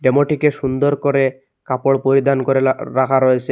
ডেমোটিকে সুন্দর করে কাপড় পরিধান করেলা রাখা রয়েছে।